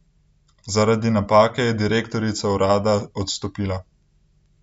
Zaradi napake je direktorica urada odstopila.